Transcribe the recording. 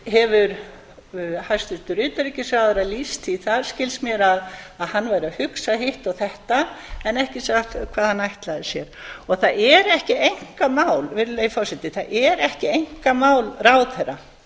hefur hæstvirtur utanríkisráðherra lýst því þar skilst mér að hann væri að hugsa hitt og þetta en ekki sagt hvað hann ætlaði sér og það er ekki einkamál virðulegi forseti það er ekki einkamál ráðherra